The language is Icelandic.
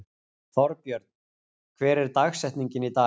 Þorbjörn, hver er dagsetningin í dag?